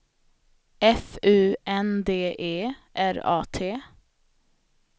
F U N D E R A T